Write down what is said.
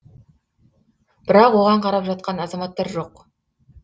бірақ оған қарап жатқан азаматтар жоқ